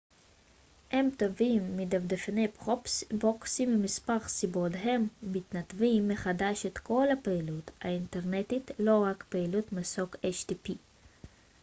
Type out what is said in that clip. הם טובים מדפדפני פרוקסי ממספר סיבות הם מנתבים מחדש את כל הפעילות האינטרנטית לא רק פעילות מסוג http